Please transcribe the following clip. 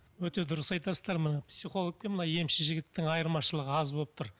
өте дұрыс айтасыздар мына психолог пен мына емші жігіттің айырмашылығы аз болып тұр